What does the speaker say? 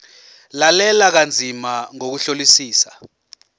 lalela kanzima ngokuhlolisisa